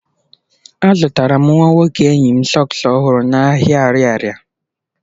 Azụtara m nwa nwoke enyi m sọks ọhụrụ n'ahịa ariaria.